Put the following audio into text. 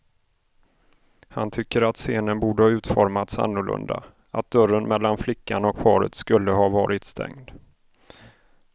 Han tycker att scenen borde ha utformats annorlunda, att dörren mellan flickan och paret skulle ha varit stängd.